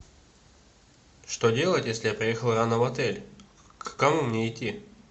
что делать если я приехал рано в отель к кому мне идти